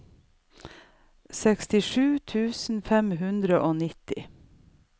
sekstisju tusen fem hundre og nittini